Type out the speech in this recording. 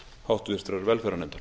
háttvirtrar velferðarnefndar